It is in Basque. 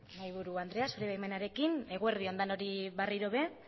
mahaiburu andrea zure baimenarekin eguerdion denoi berriro ere